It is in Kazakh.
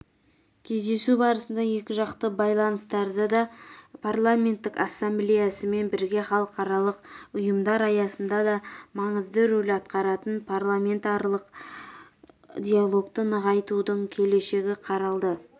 кездесу барысында екіжақты байланыстарда да парламенттік ассамблеясымен бірге халықаралық ұйымдар аясында да маңызды рөл атқаратын парламентаралық диалогты нығайтудың келешегі қаралды